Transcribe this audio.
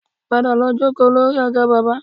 Padà lọ jókòó lórí àga bábà